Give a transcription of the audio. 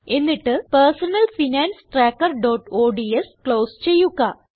എന്നിട്ട് personal finance trackerഓഡ്സ് close ചെയ്യുക